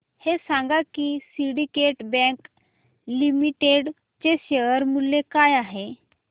हे सांगा की सिंडीकेट बँक लिमिटेड चे शेअर मूल्य काय आहे